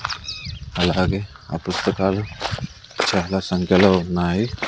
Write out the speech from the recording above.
అలాగే ఆ పుస్తకాలు చాలా సంఖ్యలో ఉన్నాయి.